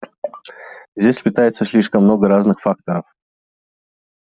здесь сплетается слишком много разных факторов